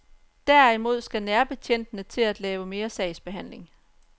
Derimod skal nærbetjentene til at lave mere sagsbehandling.